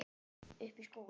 Uppi í skóla?